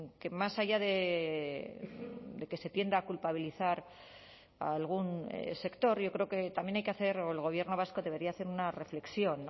que más allá de que se tienda a culpabilizar a algún sector yo creo que también hay que hacer o el gobierno vasco debería hacer una reflexión